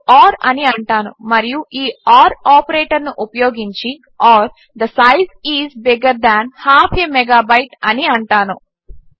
నేను ఓర్ అని అంటాను మరియు ఈ ఓర్ ఆపరేటర్ను ఉపయోగించి or the size is bigger than half a megabyte అని అంటాను